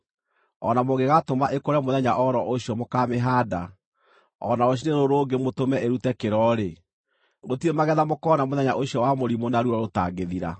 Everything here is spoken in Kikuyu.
o na mũngĩgaatũma ĩkũre mũthenya o ro ũcio mũkaamĩhaanda, o na rũciinĩ rũrũ rũngĩ mũtũme ĩrute kĩro-rĩ, gũtirĩ magetha mũkoona mũthenya ũcio wa mũrimũ na ruo rũtangĩthira.